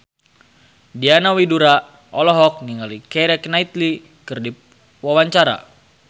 Diana Widoera olohok ningali Keira Knightley keur diwawancara